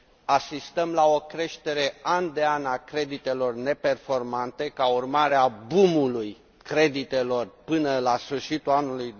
Asistăm la o creștere an de an a creditelor neperformante, ca urmare a boom ului creditelor de până la sfârșitul anului